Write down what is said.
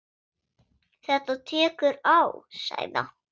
Þetta tekur á sagði Anton.